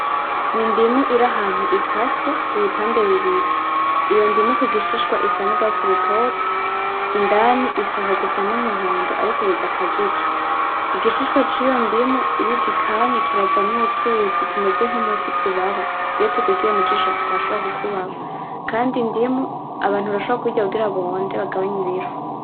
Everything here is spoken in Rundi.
N'indimu iri ahantu ikase ibipande bibiri, iyo ndimu kugishishwa isa n'urwatsi rutoto, indani ishaka gusa n'umuhondo ariko bidakajije igishishwa ciyo ndimu iyo ugikanye kiravamwo utuzi tumeze nk'umuti tubaba, iyo tukugiye mujisho turashobora kukubaba, Kandi indimu Abantu barashobora kuyirya kugira bonde bagabanye ibiro.